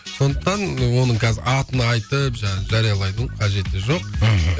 сондықтан оның қазір атын айтып жаңағы жариялаудың қажеті жоқ мхм